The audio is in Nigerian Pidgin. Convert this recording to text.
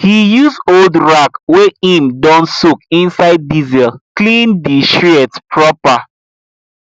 he use old rag wey him don soak inside diesel clean di shears proper